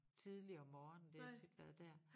Tidligt om morgenen det har tit været dér